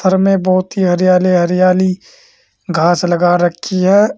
घर में बहोत ही हरियाली हरियाली घास लगा रखी है।